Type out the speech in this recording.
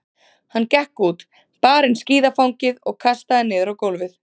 Hann gekk út, bar inn skíðafangið og kastaði niður á gólfið.